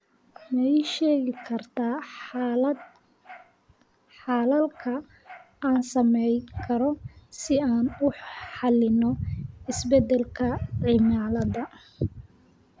ma ii sheegi kartaa xalalka aan samayn karno si aan u xalino isbedelka cimilada